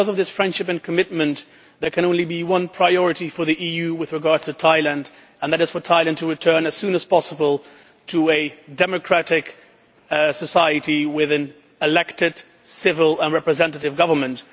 Because of this friendship and commitment there can be only one priority for the EU with regard to Thailand and that is for Thailand to return as soon as possible to a democratic society with an elected civil and representative government.